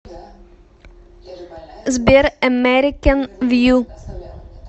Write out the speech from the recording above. сбер эмэрикэн вью